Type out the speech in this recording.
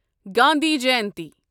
Gandhi Jayanti